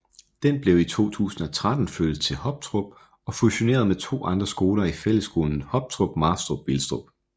Den blev i 2013 flyttet til Hoptrup og fusioneret med to andre skoler i Fællesskolen Hoptrup Marstrup Vilstrup